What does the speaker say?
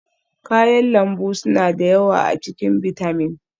kayan lambu suna da yawa a cikin bitamin